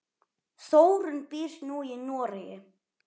Þórunn býr nú í Noregi.